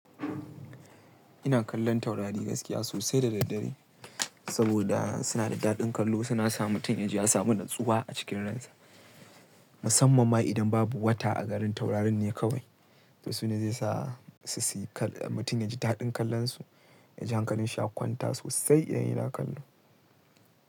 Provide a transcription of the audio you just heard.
Ina kallon taurari gaskiya sosai da daddare saboda suna da daɗin kallo. Suna sa mutum ya ji ya samu natsuwa a cikin ransa, musamman ma idan babu wata a garin taurarin ne kawai. To su ne zai sa su siyi kal-- mutum ya ji daɗin kallon su, ya ji hankalin shi ya ƙwanta sosai idan yana kallo.